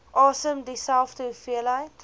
asem dieselfde hoeveelheid